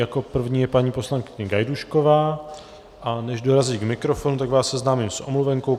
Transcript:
Jako první je paní poslankyně Gajdůšková, a než dorazí k mikrofonu, tak vás seznámím s omluvenkou.